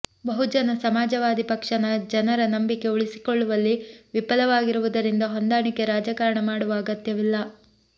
ಬಹುಜನ ಸಮಾಜವಾದಿ ಪಕ್ಷ ಜನರ ನಂಬಿಕೆ ಉಳಿಸಿಕೊಳ್ಳುವಲ್ಲಿ ವಿಫಲವಾಗಿರುವುದರಿಂದ ಹೊಂದಾಣಿಕೆ ರಾಜಕಾರಣ ಮಾಡುವ ಅಗತ್ಯವಿಲ್ಲ